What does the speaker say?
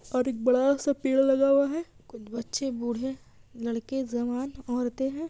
और एक बड़ा-सा पेड़ लगा हुआ है कुछ बच्चे बूढ़े लड़के जवान‌ औरते‌ है।